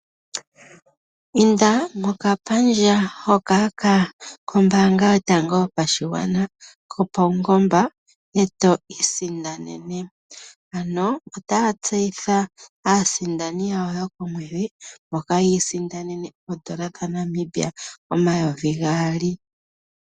Inda mokapandja hoka koombanga yotango yopashigwana kopawungoba eto isindanene. Ano otaya tseyitha aasindani yayo yokomwedhi mboka yi isindanene oodola dhaNamibia omayovi gaali.